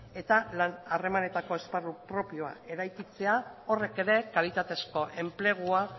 eta lan harremanetako esparru propioa eraikitzea horrek ere kalitatezko enplegua